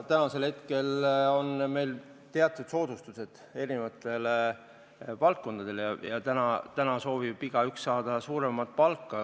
Täna on meil teatud soodustused eri valdkondadele ja igaüks soovib saada suuremat palka.